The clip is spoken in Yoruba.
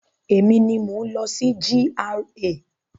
Emi ni mò ń lọ sí GRA.